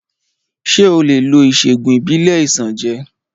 Ṣé o lè lo ìṣègùn ìbílẹ̀ Isanje?